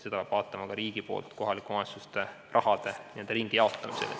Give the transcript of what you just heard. Seda peab vaatama ka riigi poolt kohalike omavalitsuste raha n-ö ringijagamisel.